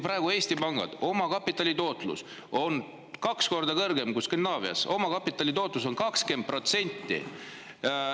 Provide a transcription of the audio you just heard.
Praegu on Eesti pankade omakapitali tootlus kaks korda kõrgem kui Skandinaavias, omakapitali tootlus on 20%.